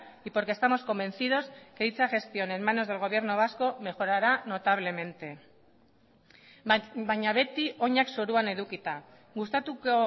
y porque estamos convencidos que dicha gestión en manos del gobierno vasco mejorará notablemente baina beti oinak zoruan edukita gustatuko